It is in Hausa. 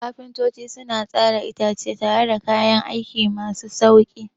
Kafintoci suna tsara itace tare da kayan aiki masu sauƙi.